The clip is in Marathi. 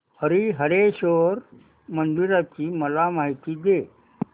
हरीहरेश्वर मंदिराची मला माहिती दे